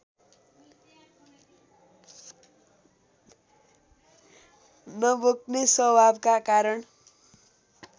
नबोक्ने स्वभावका कारण